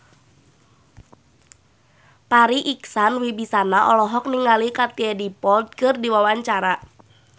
Farri Icksan Wibisana olohok ningali Katie Dippold keur diwawancara